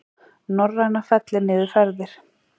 Norræna fellir niður ferð